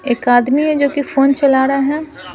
एक आदमी है जो कि फोन चला रहा है ।